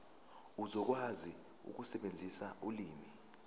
uzokwazi ukusebenzisa ulimi